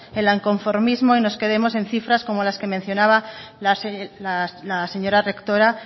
en el inconformismo y nos quedemos en cifras como las que mencionaba la señora rectora